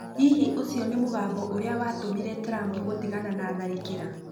Hihi ũcio nĩguo mũgambo ũrĩa watũmire Trump gũtigana na tharĩkĩra?